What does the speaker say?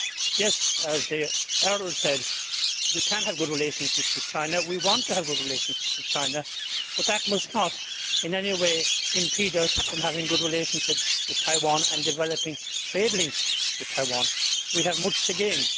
Yes, as the Earl said, we can have a good relationship with China, we want to have a good relationship with China, but that must not in any way impede us from having a good relationship with Taiwan and developing trade links with Taiwan. We have much to gain.